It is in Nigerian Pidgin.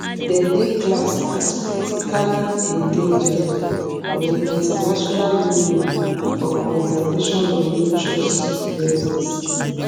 dem dey classed as critically endangered for di international union for conservation of natures red list